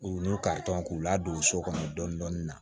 U ni ka tɔn k'u ladon so kɔnɔ dɔɔnin dɔɔnin na